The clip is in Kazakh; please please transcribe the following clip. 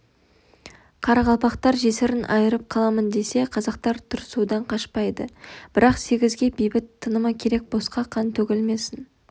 қарақалпақтар жесірін айырып қаламын десе қазақтар тұрысудан қашпайды бірақ сегізге бейбіт тынымы керек босқа қан төгілмесін